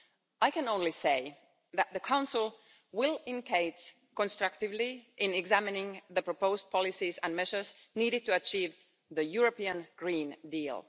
I can only say that the Council will engage constructively in examining the proposed policies and measures needed to achieve the European Green Deal.